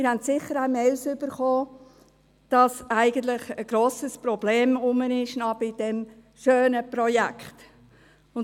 Sie haben sicher auch E-Mails erhalten, wonach bei diesem schönen Projekt eigentlich noch ein grosses Problem bestehe.